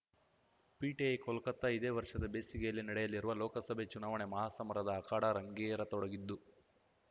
PTI Kolkata ಇದೇ ವರ್ಷದ ಬೇಸಿಗೆಯಲ್ಲಿ ನಡೆಯಲಿರುವ ಲೋಕಸಭೆ ಚುನಾವಣೆ ಮಹಾಸಮರದ ಅಖಾಡ ರಂಗೇರತೊಡಗಿದ್ದು